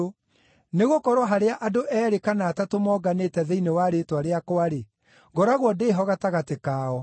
Nĩgũkorwo harĩa andũ eerĩ kana atatũ monganĩte thĩinĩ wa rĩĩtwa rĩakwa-rĩ, ngoragwo ndĩ ho gatagatĩ kao.”